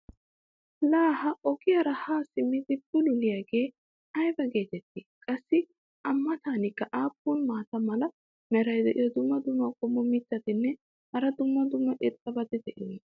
laa ha ogiyaara haa simmidi bululliyaagee aybba geetettii? qassi a matankka aappun maata mala meray diyo dumma dumma qommo mitattinne hara dumma dumma irxxabati de'iyoonaa?